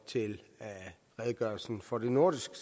til redegørelsen for det nordiske